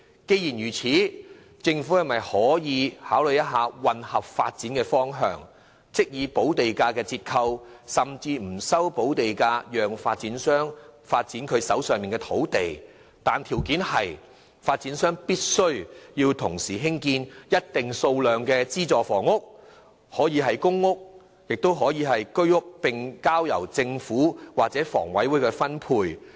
既然如此，政府可否考慮混合發展的方向，即是以補地價折扣甚至不收補地價，讓發展商發展手上的土地，條件是發展商必須同時興建一定數量的資助房屋，可以是公屋或居屋，並交由政府或香港房屋委員會分配。